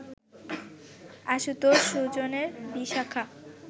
আশুতোষ সুজনের বিশাখা